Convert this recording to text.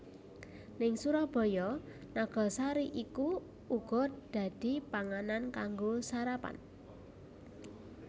Ning Surabaya nagasari iku uga dadi panganan kanggo sarapan